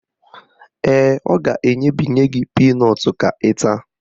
Ee, ọ ga-enyebinye gị pinọtụ ka ị taa